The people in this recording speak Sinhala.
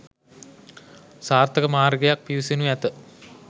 සාර්ථක මාර්ගයක් පිවිසෙනු ඇත